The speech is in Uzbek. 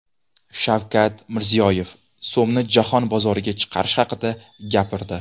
Shavkat Mirziyoyev so‘mni jahon bozoriga chiqarish haqida gapirdi .